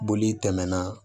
Boli tɛmɛna